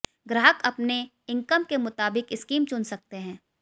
ग्राहक अपने इकंम के मुताबिक स्कीम चुन सकते हैं